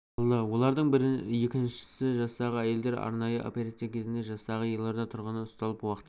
алды олардың бірі ал екіншісі жастағы әйелдер арнайы операция кезінде жастағы елорда тұрғыны ұсталып уақытша